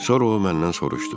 Sonra o məndən soruşdu.